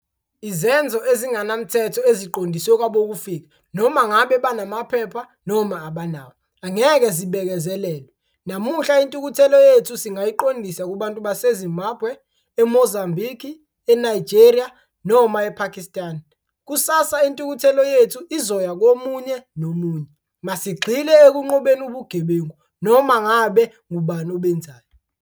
Izenzo ezingenamthetho eziqondiswe kwabokufika, noma ngabe banamaphepha noma abanawo, angeke zibekezelelwe. Namuhla, intukuthelo yethu singayiqondisa kubantu base-Zimbabwe, e-Mozambique, e-Nigeria noma e-Pakistan. Kusasa, intukuthelo yethu izoya komunye nomunye. Masigxile ekunqobeni ubugebengu, noma ngabe ngubani obenzayo.